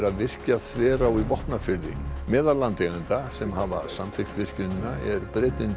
að virkja Þverá í Vopnafirði meðal landeigenda sem hafa samþykkt virkjunina er Bretinn